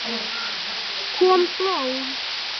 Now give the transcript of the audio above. Kom blóð?